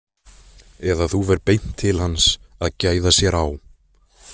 Eða þú ferð beint til hans að gæða sér á.